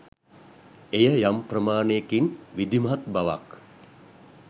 එය යම් ප්‍රමාණයකින් විධිමත් බවක්